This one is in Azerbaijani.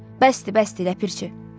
Bəsdir, bəsdir ləpirçi.